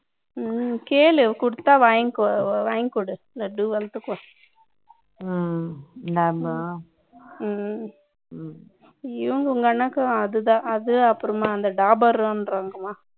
கேளு கொடுத்தா வாங்கிக்கோ வாங்கி கொடு லட்டு வளத்துக்கும் நாம இவங்க உங்க அண்ணனுக்கும் அதுதான் doberman சொல்றாங்க இல்லையா